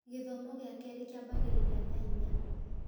Gĩthomo gĩa kerĩ kĩambagĩrĩria thaa inya